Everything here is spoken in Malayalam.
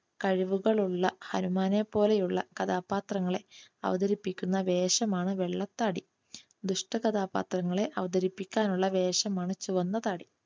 കഴിവുകളുള്ള ഹനുമാനെ പോലെയുള്ള കഥാപാത്രങ്ങളെ അവതരിപ്പിക്കുന്ന വേഷമാണ് വെള്ളത്താടി. ദുഷ്ടകഥാപാത്രങ്ങളെ അവതരിപ്പിക്കാനുള്ള വേഷമാണ് ചുവന്ന താടി.